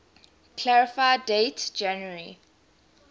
clarify date january